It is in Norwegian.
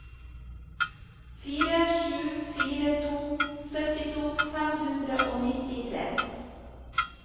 fire sju fire to syttito fem hundre og nittitre